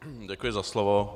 Děkuji za slovo.